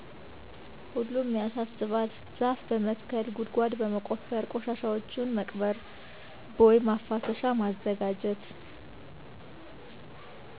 ሁሉም ያሳስባል ዛፍ በመትከል ጉድጓድ በመቆፈር ቆሻሻዎችን መቅበር ቦይ መፋሰሻ ማዘጋጀት